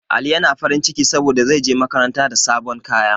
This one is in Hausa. Ali yana farin ciki saboda zai je makaranta da sabon kaya